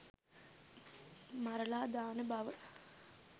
මරලා දාන බව